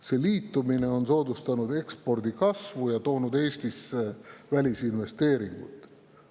See liitumine on soodustanud ekspordi kasvu ja toonud Eestisse välisinvesteeringuid.